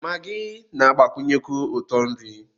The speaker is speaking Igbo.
Maggi na-agbakwụnyekwu ụtọ nri